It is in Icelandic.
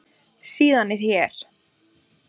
Síðan er hér.